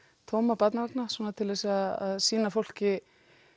tóma barnavagna svona til þess að sýna fólki